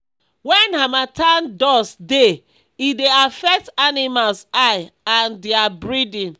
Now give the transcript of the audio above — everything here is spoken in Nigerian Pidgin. wen harmattan dust dey e dey affect animals eye and dia breathing